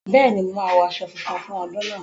Bẹ́ẹ̀ni, mo máa wọ aṣọ funfun fún ọdún náà